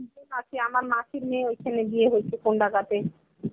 আছে আমার মাসির মেয়ে ঐখানে বিয়ে হয়েছে কন্দাঙ্গাতে.